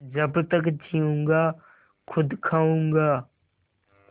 जब तक जीऊँगा खुद खाऊँगा